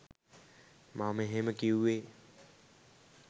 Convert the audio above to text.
මම එහෙම කිවුවේ